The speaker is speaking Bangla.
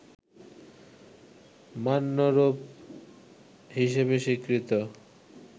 মান্য রূপ হিসেবে স্বীকৃত